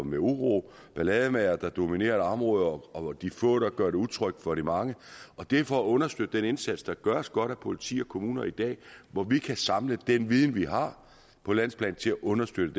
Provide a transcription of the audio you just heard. med uro ballademagere der dominerer et område og hvor de få gør det utrygt for de mange det er for at understøtte den indsats der gøres godt af politi og kommuner i dag hvor vi kan samle den viden vi har på landsplan til at understøtte